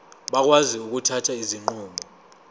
bakwazi ukuthatha izinqumo